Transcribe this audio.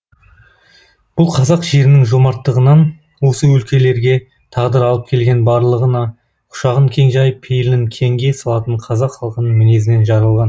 бұл қазақ жерінің жомарттығынан осы өлкелерге тағдыр алып келген барлығына құшағын кең жайып пейілін кеңге салатын қазақ халқының мінезінен жаралған